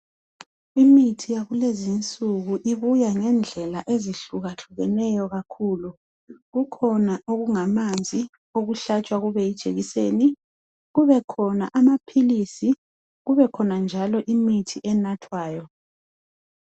Imithi yakulezinsuku ibuya ngendlela ezihlukahlukeneyo kakhulu, kukhona okungamanzi okuhlatshwa kube yijekiseni, kubekhona amaphilisi, kubekhona njalo imithi enathwayo